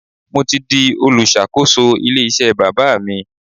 Mo ti di olùṣàkóso ilé iṣẹ́ bàbá mi.